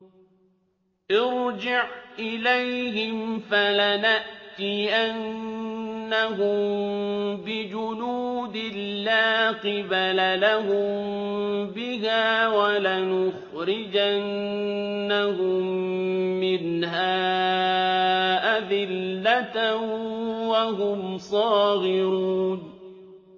ارْجِعْ إِلَيْهِمْ فَلَنَأْتِيَنَّهُم بِجُنُودٍ لَّا قِبَلَ لَهُم بِهَا وَلَنُخْرِجَنَّهُم مِّنْهَا أَذِلَّةً وَهُمْ صَاغِرُونَ